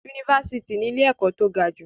Yunifásítì ní ilé-ẹ̀kọ́ tó gajù.